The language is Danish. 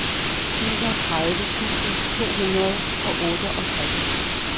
enogtredive tusind to hundrede og otteogtres